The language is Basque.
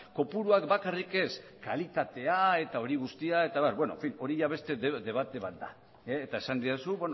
kopuruak bakarrik ez kalitatea eta hori guztia baina hori beste debate bat da eta esan didazu